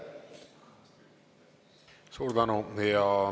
Suur tänu!